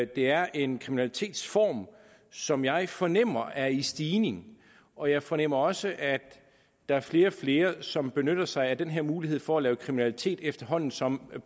det er en kriminalitetsform som jeg fornemmer er i stigning og jeg fornemmer også at der er flere og flere som benytter sig af den her mulighed for at begå kriminalitet efterhånden som